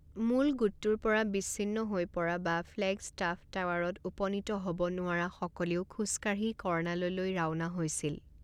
মূল গোটটোৰ পৰা বিচ্ছিন্ন হৈ পৰা বা ফ্লেগষ্টাফ টাৱাৰত উপনীত হ'ব নোৱাৰাসকলেও খোজকাঢ়ি কৰ্ণাললৈ ৰাওনা হৈছিল।